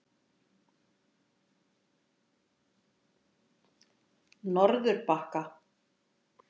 Norðurbakka